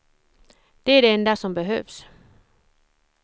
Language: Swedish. Det är det enda som behövs.